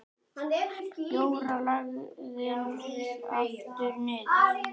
Jóra lagðist aftur niður.